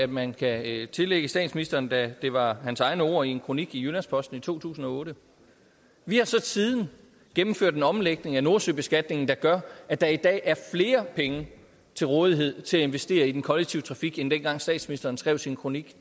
man kan tillægge statsministeren da det var hans egne ord i en kronik i jyllands posten i to tusind og otte vi har så siden gennemført en omlægning af nordsøbeskatningen der gør at der i dag er flere penge til rådighed til at investere i den kollektive trafik end dengang statsministeren skrev sin kronik